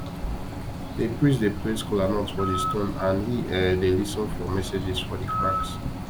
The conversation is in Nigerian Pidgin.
the priest dey place kola nuts for the stone and he um dey lis ten for messages for the cracks